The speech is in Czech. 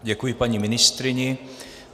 Děkuji paní ministryni.